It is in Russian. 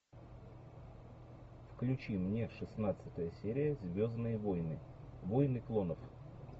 включи мне шестнадцатая серия звездные войны войны клонов